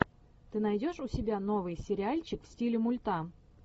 ты найдешь у себя новый сериальчик в стиле мульта